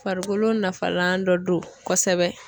Farikolo nafalan dɔ don kosɛbɛ.